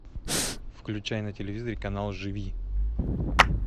включай на телевизоре канал живи